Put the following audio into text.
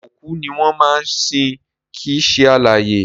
Òkú ni wọ́n máa ń sin kìí ṣe alààyè